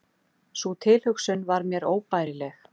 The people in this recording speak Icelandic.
Sú tilhugsun var mér óbærileg.